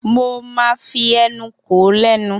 Mo máa fi ẹnu kò ó lẹ́nu.